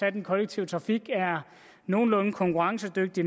at den kollektive trafik er nogenlunde konkurrencedygtig